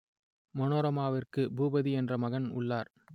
மனோரமாவிற்கு பூபதி என்ற மகன் உள்ளார்